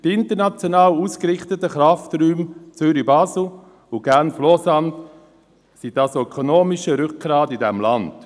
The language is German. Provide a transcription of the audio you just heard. Die international ausgerichteten Krafträume Zürich/Basel und Genf/Lausanne sind das ökonomische Rückgrat dieses Landes.